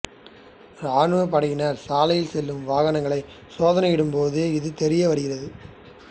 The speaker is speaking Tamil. இராணுவப் படையினரின் சாலையில் செல்லும் வாகனங்களைச் சோதனையிடும்போது இது தெரிய வருகிறது